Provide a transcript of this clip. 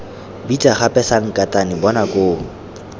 bitsa gape sankatane bona koo